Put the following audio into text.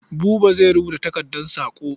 Buba zai rubuta takardar saƙo.